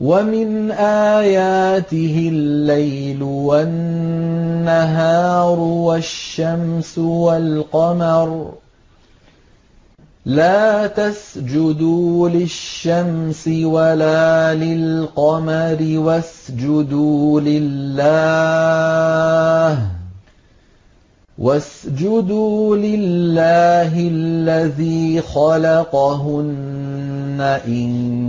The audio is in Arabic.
وَمِنْ آيَاتِهِ اللَّيْلُ وَالنَّهَارُ وَالشَّمْسُ وَالْقَمَرُ ۚ لَا تَسْجُدُوا لِلشَّمْسِ وَلَا لِلْقَمَرِ وَاسْجُدُوا لِلَّهِ الَّذِي خَلَقَهُنَّ إِن